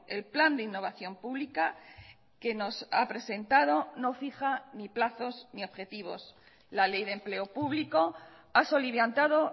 el plan de innovación pública que nos ha presentado no fija ni plazos ni objetivos la ley de empleo público ha soliviantado